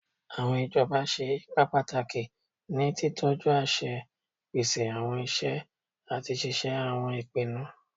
Awọn ijọba ṣe ipa pataki ni titọju aṣẹ, pese awọn iṣẹ, ati ṣiṣe awọn ipinnu